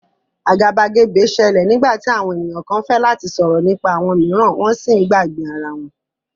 Agabagebe ṣẹlẹ nigbati awọn eniyan kan fẹ lati sọrọ nipa awọn miiran wọn si ǹ gbagbe ara wọn.